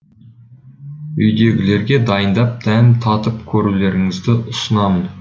үйдегілерге дайындап дәм татып көрулеріңізді ұсынамын